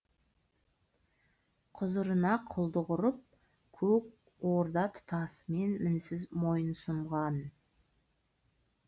құзырына құлдық ұрып көк орда тұтасымен мінсіз мойынсұнған